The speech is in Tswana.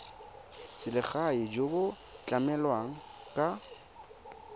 selegae jo bo tlamelang ka